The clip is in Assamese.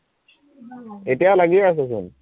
এতিয়াও লাগিয়েই আছে চোন